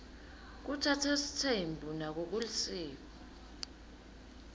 kutsatsa sitsembu nako kulisiko